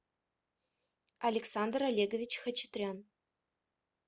александр олегович хачатрян